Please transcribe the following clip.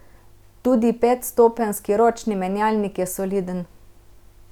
Tudi petstopenjski ročni menjalnik je soliden.